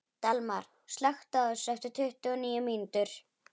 Dalmar, slökktu á þessu eftir tuttugu og níu mínútur.